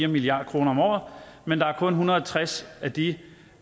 milliard kroner om året men der er kun en hundrede og tres af de